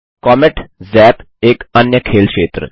comet zap - एक अन्य खेल क्षेत्र